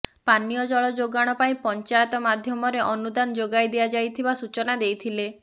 ପାନୀୟ ଜଲ ଯୋଗାଣ ପାଇଁ ପଞ୍ଚାୟତ ମାଧ୍ୟମରେ ଅନୁଦାନ ଯୋଗାଇ ଦିଆଯାଥିବା ସୂଚନା ଦେଇଥିଲେ